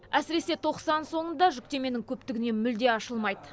әсіресе тоқсан соңында жүктеменің көптігінен мүлде ашылмайды